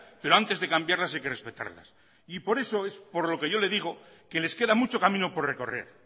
pero antes de cambiarlas hay que respetarlas y por eso es por lo que yo le digo que les queda mucho camino por recorrer